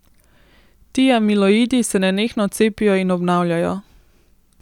Ti amiloidi se nenehno cepijo in obnavljajo.